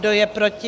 Kdo je proti?